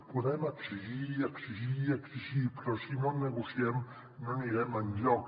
podem exigir i exigir i exigir però si no negociem no anirem enlloc